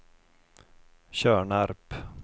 Tjörnarp